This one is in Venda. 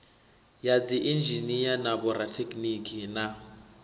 ya dziinzhinia na vhorathekhiniki na